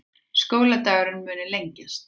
Skóladagurinn muni lengjast